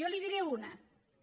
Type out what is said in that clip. jo n’hi diré una